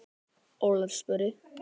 Ólöf spurði: